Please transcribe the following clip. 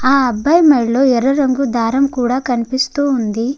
ఆ అబ్బాయి మెళ్ళో ఎర్ర రంగు దారం కూడా కనిపిస్తూ ఉంది.